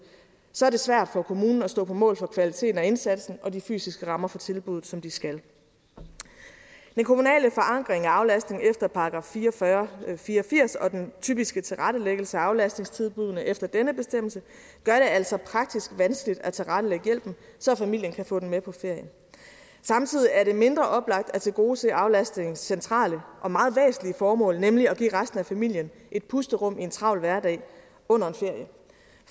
så er det svært for kommunen at stå på mål for kvaliteten og indsatsen og de fysiske rammer for tilbuddet som de skal den kommunale forankring af aflastningen efter § fire og fyrre jævnfør fire og firs og den typiske tilrettelæggelse af aflastningstilbuddene efter denne bestemmelse gør det altså praktisk vanskeligt at tilrettelægge hjælpen så familien kan få den med på ferien samtidig er det mindre oplagt at tilgodese aflastningens centrale og meget væsentlige formål nemlig at give resten af familien et pusterum i en travl hverdag under en ferie